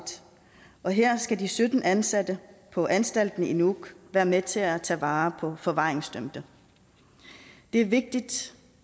og her skal de sytten ansatte på anstalten i nuuk være med til at tage vare på forvaringsdømte det er vigtigt